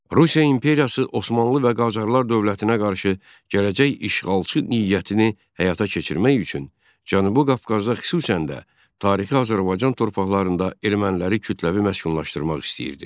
Rusiya İmperiyası Osmanlı və Qacarlar dövlətinə qarşı gələcək işğalçı niyyətini həyata keçirmək üçün Cənubi Qafqazda xüsusən də tarixi Azərbaycan torpaqlarında erməniləri kütləvi məskunlaşdırmaq istəyirdi.